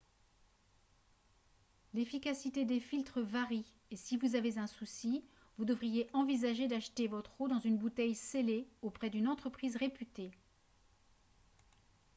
l'efficacité des filtres varie et si vous avez un souci vous devriez envisager d'acheter votre eau dans une bouteille scellée auprès d'une entreprise réputée